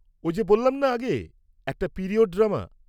-ওই যে বললাম না আগে, এটা একটা পিরিয়ড ড্রামা।